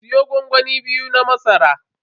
Siyo gwangwami biyu na masara.